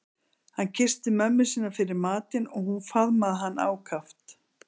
Hann kyssti mömmu sína fyrir matinn og hún faðmaði hann ákaft.